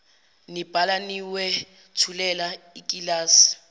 nibhala niwethulela ikilasi